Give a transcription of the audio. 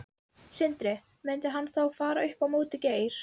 Sindri: Myndi hann þá fara upp á móti Geir?